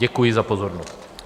Děkuji za pozornost.